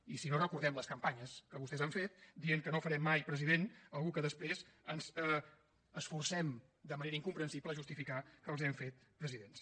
i si no recordem les campanyes que vostès han fet dient que no farem mai president algú que després ens esforcem de manera incomprensible a justificar que els hem fet presidents